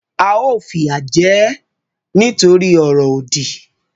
A ó fìyà jẹ e nítorí ọ̀rọ̀ òdì